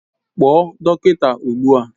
Kpọọ dọkịta ugbu a!